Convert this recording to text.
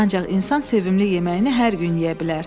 Ancaq insan sevimli yeməyini hər gün yeyə bilər.